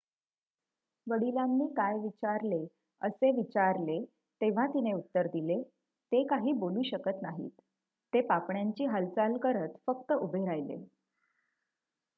"वडिलांनी काय विचारले असे विचारले तेव्हा तिने उत्तर दिले "ते काही बोलू शकत नाहीत - ते पापण्यांची हालचाल करत फक्त उभे राहिले.""